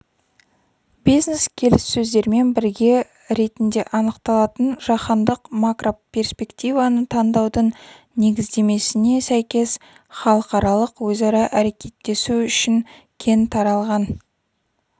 бизнес-келіссөздермен бірге ретінде анықталатын жаһандық макроперспективаны таңдаудың негіздемесіне сәйкес халықаралық өзара әрекеттесу үшін кең таралған